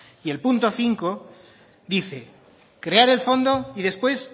y el punto cinco dice crear el fondo y después